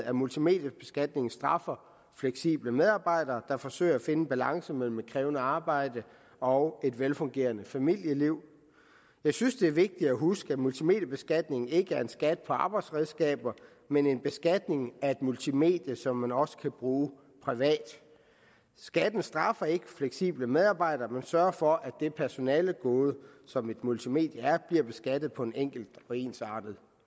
at multimediebeskatningen straffer fleksible medarbejdere der forsøger at finde en balance mellem et krævende arbejde og et velfungerende familieliv jeg synes det er vigtigt at huske at multimediebeskatningen ikke er en skat på arbejdsredskaber men en beskatning af et multimedie som man også kan bruge privat skatten straffer ikke fleksible medarbejdere men sørger for at det personalegode som et multimedie er bliver beskattet på en enkel og ensartet